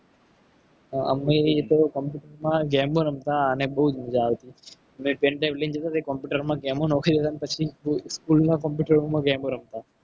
અમે પણ computer માં game ઓ રમતા. અને બહુ મજા આવતી ને pendrive લઈ જતા computer માં game ઓનાખી દેવાની પછી school ના computer માં game રમતા.